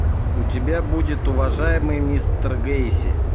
у тебя будет уважаемый мистер гейси